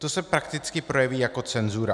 To se prakticky projeví jako cenzura.